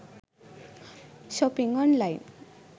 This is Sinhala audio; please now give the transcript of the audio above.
shopping online